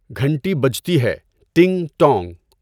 گھنٹی بجتی ہے ٹِنگ ٹانگ!